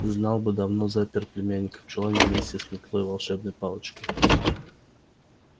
знал бы давно запер племянника в чулане вместе с метлой волшебной палочкой